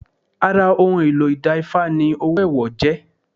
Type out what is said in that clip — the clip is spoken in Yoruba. Ara ohun èlò ìda Ifá ni owó ẹwọ jẹ́